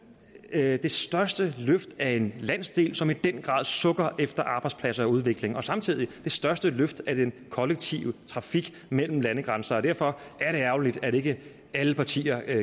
det her er det største løft af en landsdel som i den grad sukker efter arbejdspladser og udvikling det er samtidig det største løft af den kollektive trafik mellem landegrænser derfor er det ærgerligt at ikke alle partier